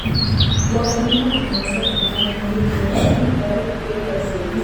Wakulima wanaweza kuungana ili kuunda viwanda vidogo vya usindikaji.